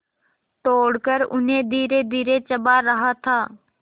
तोड़कर उन्हें धीरेधीरे चबा रहा था